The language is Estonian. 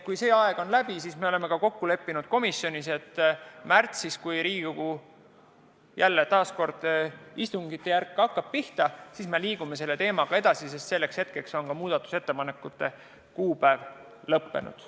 Kui see aeg on läbi, siis me oleme komisjonis kokku leppinud, et märtsis, kui hakkavad istungid pihta, me liigume selle teemaga edasi, sest selleks ajaks on muudatusettepanekute tähtaeg lõppenud.